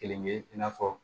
Kelen ye i n'a fɔ